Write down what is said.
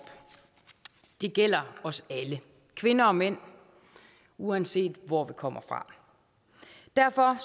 det gælder os alle kvinder og mænd uanset hvor vi kommer fra derfor